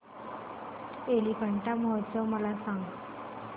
एलिफंटा महोत्सव मला सांग